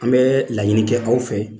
An bɛ laɲini kɛ aw fɛ